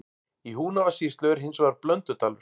Í Húnavatnssýslu er hins vegar Blöndudalur.